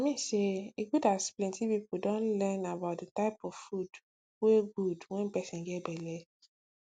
i mean saye good as plenty people don learn about the type of food wey good wen person get belle